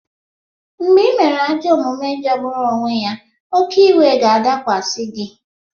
Mgbe ị mere ajọ omume jọgburu onwe ya, oke iwu ga-adakwasị gị.